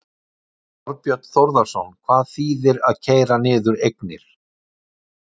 Þorbjörn Þórðarson: Hvað þýðir það að keyra niður eignir?